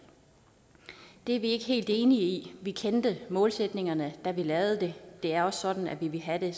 det er vi ikke helt enige i vi kendte målsætningerne da vi lavede den det er også sådan at vi ville have det